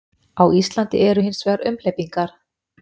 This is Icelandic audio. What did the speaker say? Á Íslandi eru hins vegar umhleypingar.